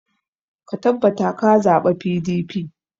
Ka tabbata ka zaɓa PDP!